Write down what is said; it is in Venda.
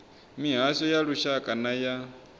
mihasho ya lushaka na ya